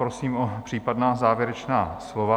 Prosím o případná závěrečná slova.